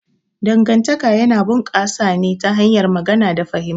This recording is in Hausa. Dangantaka yana bunƙasa ne ta hanyar magana da fahimta.